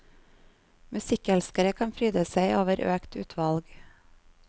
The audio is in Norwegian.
Musikkelskere kan fryde seg over økt utvalg.